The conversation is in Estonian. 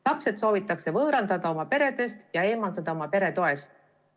Lapsed soovitakse võõrandada oma peredest ja eemaldada oma pere toest.